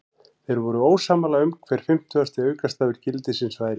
Þeir voru ósammála um hver fimmtugasti aukastafur gildisins væri.